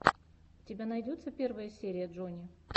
у тебя найдется первая серия джони